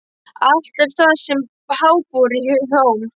Allt er það sem háborið hjóm.